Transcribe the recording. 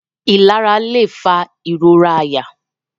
Ilara lẹ fa irora àyà.